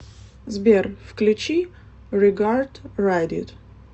сбер включи регард райд ит